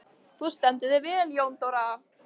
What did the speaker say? Þú stendur þig vel, Jóndóra!